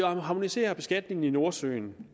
harmoniserer beskatningen i nordsøen